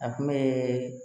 A kun be